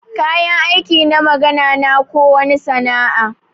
Kayan aiki na magana na ko wani sana'a.